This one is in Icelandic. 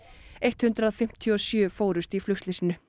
hundrað fimmtíu og sjö fórust í flugslysinu